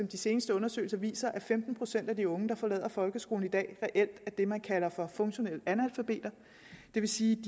de seneste undersøgelser viser at femten procent af de unge der forlader folkeskolen i dag reelt er det man kalder funktionelle analfabeter det vil sige